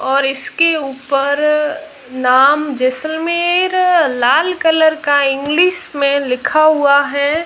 और इसके ऊपर नाम जसलमेर लाल कलर का इंग्लिश में लिखा हुआ है।